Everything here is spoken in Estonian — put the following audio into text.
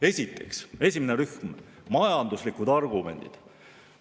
Esiteks, esimene rühm, majanduslikud argumendid.